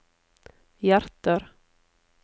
hjerter